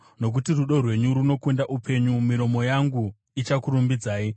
Nokuti rudo rwenyu runokunda upenyu, miromo yangu ichakurumbidzai.